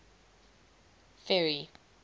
ferry